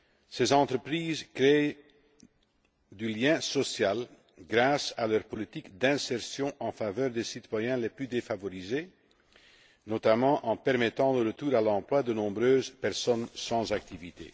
Ces entreprises créent du lien social grâce à leur politique d'insertion en faveur des citoyens les plus défavorisés, notamment en permettant le retour à l'emploi de nombreuses personnes sans activité.